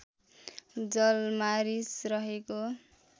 जलमा रिस रहेको